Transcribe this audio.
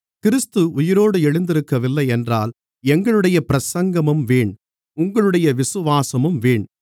கிறிஸ்து உயிரோடு எழுந்திருக்கவில்லையென்றால் எங்களுடைய பிரசங்கமும் வீண் உங்களுடைய விசுவாசமும் வீண்